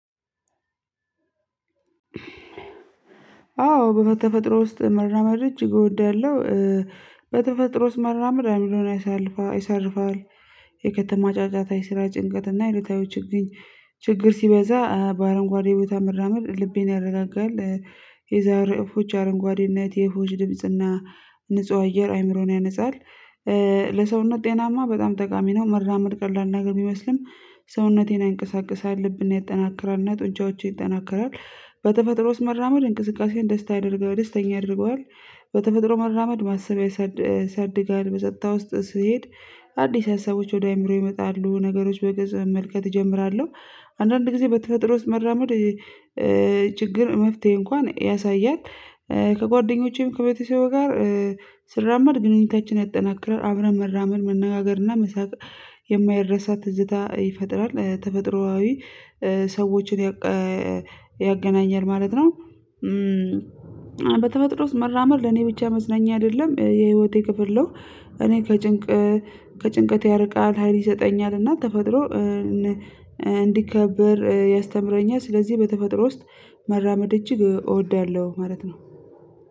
አዎ በተፈጥሮ ውስጥ መራመድ እጅግ እወዳለሁ። በተፈጥሮ ውስጥ መራመድ አይምሮን ይሳልፋል ይሳርፋል። የከተማ ጫጫታ የስራ ጭንቀት እና የዕለታዊ ችግኝ ችግር ሲበዛ በአረንጓዴ ቦታ መራመድ ልብን ያረጋጋል። የዛሬ እፎች አረንጓዴነት የእፎች ድምጽና ንጹህ አየር አይምሮን ያነጻል። ለሰውነት ጤናማ በጣም ጠቃሚ ነው መራመድ ቀላል ነገር ቢመስልም። ሰውነቴን ያንቀሳቅሳል ልብን ያጠናክራልና ጡንቻዎችን ይጠናከራል። በተፈጥሮ ውስጥ መራመድ እንቅስቃሴን ደስታ ያደርገዋል ደስተኛ ያደርገዋል። በተፈጥሮ መራመድ ማሰብ ያሳድ ያሳድጋል በጸጥታ ውስጥ ስሄድ። አዲስ ሀሳቦች ወደ አእምሮ ይመጣሉ ነገሮች በግልጽ መመልከት እጀምራለሁ። አንዳንድ ጊዜ በተፈጥሮ ውስጥ መራመድ ችግር መፍትሄ እንኳን ያሳያል። ከጓደኞቼም ከቤተሰቤ ጋር ስራመድ ግንኙነታችን ያጠናክራል አብረን መራመድ መነጋገር እና መሳቅ። የማይረሳ ትዝታ ይፈጥራል ተፈጥሮአዊ ሰዎችን ያቀ ያገናኛል ማለት ነው። በተፈጥሮ ውስጥ መራመድ ለኔ ብቻ መዝናኛ አይደለም የህይወቴ ክፍል ነው። እኔ ከጭንቅ ከጭንቀት ያርቃል ሀይል ይሰጠኛል እና ተፈጥሮ እንዲከበር ያስተምረኛል። ስለዚህ በተፈጥሮ ውስጥ መራመድ እጅግ እ እወዳለሁ ማለት ነው